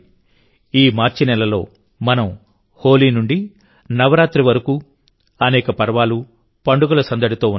ఈ మార్చి నెలలో మనం హోలీ నుండి నవరాత్రి వరకు అనేక పర్వాలు పండుగలసందడితో ఉన్నాం